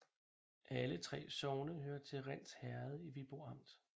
Alle 3 sogne hørte til Rinds Herred i Viborg Amt